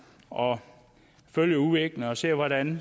og følger udviklingen og ser hvordan